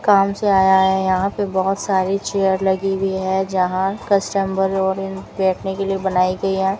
काम से आया है यहां पे बहोत सारी चेयर लगी हुई है जहां कस्टमर और बैठने के लिए बनाई गई है।